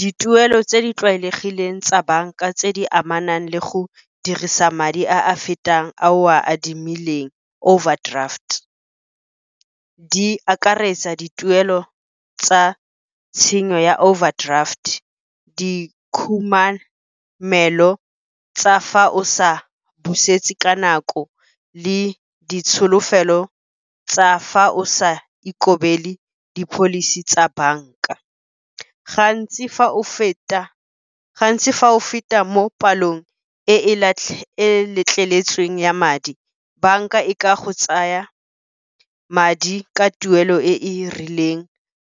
Dituelo tse di tlwaelegileng tsa banka tse di amanang le go dirisa madi a a fetang a o a adimileng, overdraft. Di akaretsa dituelo tsa tshenyo ya overdraft, dikhumamelo tsa fa o sa busetse ka nako, le ditsholofelo tsa fa o sa ikobele di-policy tsa banka. Gantsi fa o feta mo palong e e letleletsweng ya madi, banka e ka go tsaya madi ka tuelo e e rileng